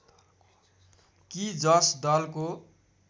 कि जस दलको